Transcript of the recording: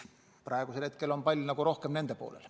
Praegu on pall rohkem nende poolel.